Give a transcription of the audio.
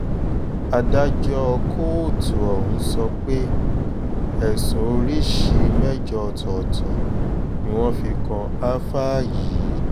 adájọ́ kóòtù ọ̀hún sọ pé ẹ̀sùn oríṣìí mẹ́jọ ọ̀tọ̀ọ̀tọ̀ ni wọ́n fi kan ááfáà yìí